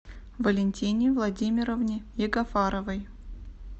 валентине владимировне ягафаровой